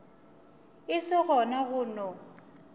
e se gona go no